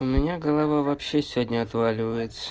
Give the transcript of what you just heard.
у меня голова вообще сегодня отваливаетса